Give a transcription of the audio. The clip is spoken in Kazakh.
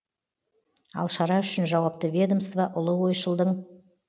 ал шара үшін жауапты ведомство ұлы ойшылдың